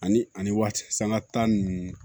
Ani ani waati sanga ta nunnu